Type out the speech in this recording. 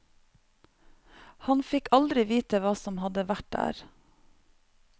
Han fikk aldri vite hva som hadde vært der.